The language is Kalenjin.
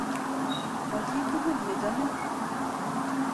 Ma chi tukul ne chomin.